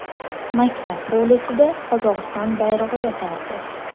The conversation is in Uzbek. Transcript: Maktab hovlisida Qozog‘iston bayrog‘i yotardi.